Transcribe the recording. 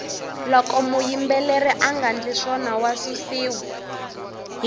loko muyimbeleri anga ndli swona wa susiwa